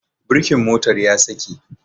Birkin motar ya saki